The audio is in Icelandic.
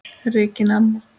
Regína amma.